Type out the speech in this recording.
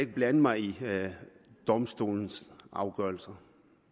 blande mig i domstolenes afgørelser